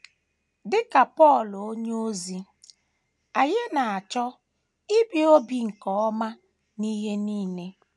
Dị ka Pọl onyeozi, anyị na - achọ “ ibi obi nke ọma n’ihe nile. ”